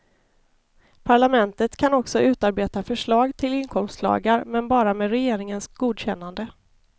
Parlamentet kan också utarbeta förslag till inkomstlagar men bara med regeringens godkännande.